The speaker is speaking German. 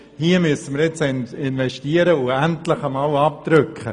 Hier müssen wir investieren und endlich abdrücken!